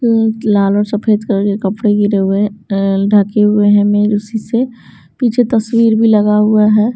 लाल और सफेद कलर के कपड़े गिरे हुए अ ढके हुए हैं मेरे उसी से पीछे तस्वीर भी लगा हुआ है।